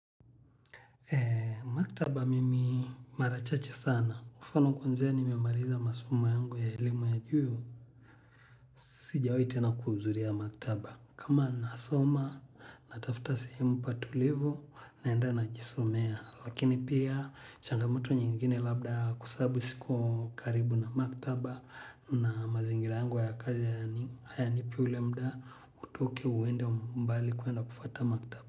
Maktaba mimi mara chache sana. Mfano kwanzia nimemaliza masoma yangu ya elimu ya juu. Sijawai tena kuhuzuria maktaba. Kama nasoma na tafuta sehemu patulivu naenda najisomea. Lakini pia, changamoto nyingine labda kwa saabu siko karibu na maktaba. Na mazingira yangu ya kazi hayanipi ule muda, utoke uende mbali kuenda kufuata maktaba.